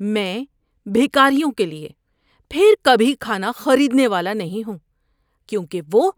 میں بھکاریوں کے لیے پھر کبھی کھانا خریدنے والا نہیں ہوں کیونکہ وہ